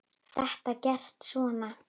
Þetta er gert svona